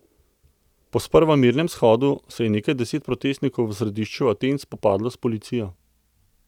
Po sprva mirnem shodu se je nekaj deset protestnikov v središču Aten spopadlo s policijo.